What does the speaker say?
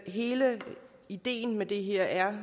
hele ideen med det her er